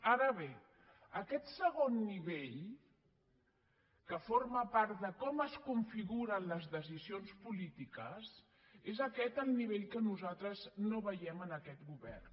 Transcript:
ara bé aquest segon nivell que forma part de com es configuren les decisions polítiques és aquest el nivell que nosaltres no veiem en aquest govern